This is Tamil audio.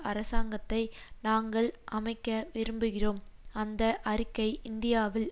அரசாங்கத்தை நாங்கள் அமைக்க விரும்புகிறோம் அந்த அறிக்கை இந்தியாவில்